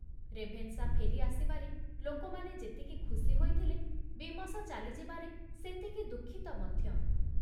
Ravenshaw ଫେରି ଆସିବାରେ ଲୋକମାନେ ଯେତିକି ଖୁସି ହୋଇଥିଲେ, ବିମସ ଚାଲିଯିବାରେ ସେତିକି ଦୁଃଖିତ ମଧ୍ୟ ।